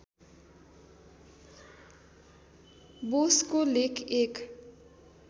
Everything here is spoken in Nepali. बोसको लेख एक